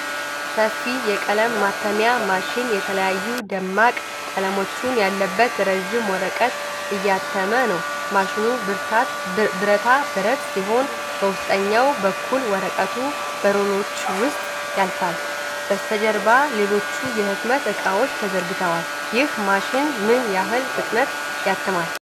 ሰፊ የቀለም ማተሚያ ማሽን የተለያዩ ደማቅ ቀለሞችን ያለበት ረጅም ወረቀት እያተመ ነው። ማሽኑ ብረታ ብረት ሲሆን በውስጠኛው በኩል ወረቀቱ በሮለሮች ውስጥ ያልፋል። በስተጀርባ ሌሎች የህትመት እቃዎች ተዘርግተዋል። ይህ ማሽን ምን ያህል ፍጥነት ያትማል?